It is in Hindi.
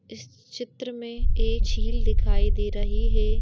इस चित्र में एक झील दिखाई दे रही है।